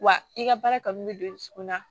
Wa i ka baara kanu bɛ don i dusukun na